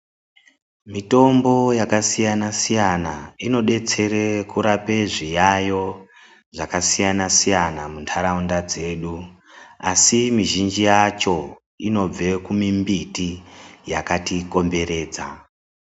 Mitombo yakasiyana-siyana inodetsere kurape zviya yo zvakasiyana-siyana muntharaunda dzedu. Asi mizhinji yacho inobva kumimbiti yakatitenderedza.